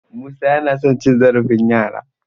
Musa yana son cin zarafin yara.